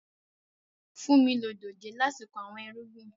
Funmi lo dójè láti kọ awọn irugbin.